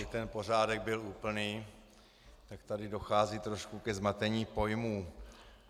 Aby ten pořádek byl úplný, tak tady dochází trošku ke zmatení pojmů.